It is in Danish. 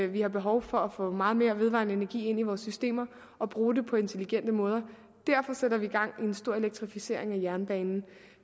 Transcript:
vi har behov for at få meget mere vedvarende energi ind i vores systemer og bruge den på intelligente måder derfor sætter vi gang i en stor elektrificering af jernbanen